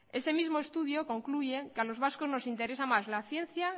este mismo estudio concluye que a los vascos nos interesa más la ciencia